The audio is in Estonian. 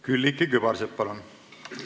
Külliki Kübarsepp, palun!